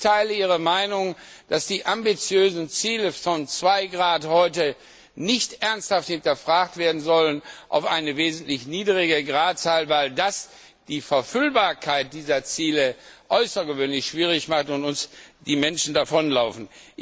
Ich teile Ihre Meinung, dass die ambitiösen Ziele von 2 Grad heute nicht ernsthaft hinterfragt werden sollen auf eine wesentlich niedrigere Gradzahl, weil das die Verfüllbarkeit dieser Ziele außergewöhnlich schwierig macht und uns die Menschen davonlaufen.